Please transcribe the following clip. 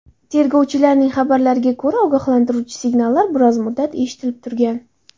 Tergovchilarning xabarlariga ko‘ra, ogohlantiruvchi signallar biroz muddat eshitilib turgan.